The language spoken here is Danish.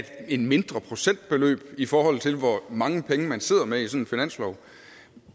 et mindre procentbeløb i forhold til hvor mange penge man sidder med i sådan en finanslov